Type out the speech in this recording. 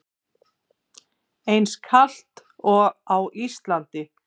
Eins kalt og á Íslandi?